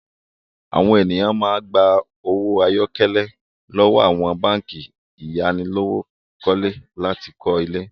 Àwọn ènìyàn máa gba owó àyákọ́lé lọ́wọ́ àwọn báńkì ayánilówókọ́lé láti kọ́ ilé.